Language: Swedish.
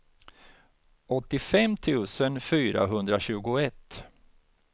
åttiofem tusen fyrahundratjugoett